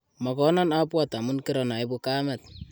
Mokonon abwat amun kiranoibu kamet